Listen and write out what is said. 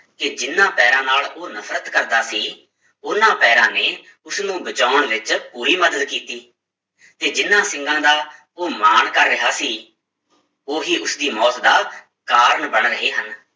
ਕਿ ਜਿੰਨਾਂ ਪੈਰਾਂ ਨਾਲ ਉਹ ਨਫ਼ਰਤ ਕਰਦਾ ਸੀ, ਉਹਨਾਂ ਪੈਰਾਂ ਨੇ ਉਸਨੂੰ ਬਚਾਉਣ ਵਿੱਚ ਪੂਰੀ ਮਦਦ ਕੀਤੀ ਤੇ ਜਿਹਨਾਂ ਸਿੰਗਾਂ ਦਾ ਉਹ ਮਾਣ ਕਰ ਰਿਹਾ ਸੀ ਉਹੀ ਉਸਦੀ ਮੌਤ ਦਾ ਕਾਰਨ ਬਣ ਰਹੇ ਹਨ।